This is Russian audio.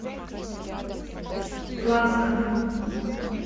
плавска